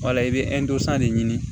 Wala i bɛ de ɲini